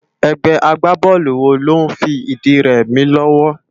Ègbé àgbábólú wó ló n fi idi rè mi lòwò?